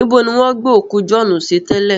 Níbo ni wọ́n gbé òkú Jọ̀ọ́ọ́nù sí tẹ́lẹ̀?